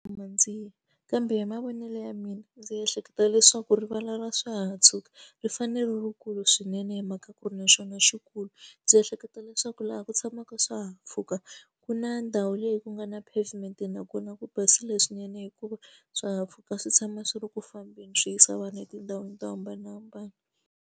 Kambe hi mavonelo ya mina ndzi ehleketa leswaku rivala ra swa ha tshuka ri fanele ri rikulu swinene hi mhaka ku ri na xona xikulu. Ndzi ehleketa leswaku laha ku tshamaka ka swihahampfhuka ku na ndhawu leyi ku nga na pavement nakona ku basile swinene hikuva swihahampfhuka swi tshama swi ri ku fambeni swi yisa vana etindhawini to hambanahambana.